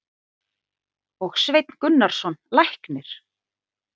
og Sveinn Gunnarsson læknir.